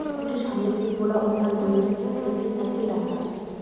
স্কুলটির সামনে একটি খোলা উঠান রয়েছে যেখানে একটি সাইকেল রাখা আছে।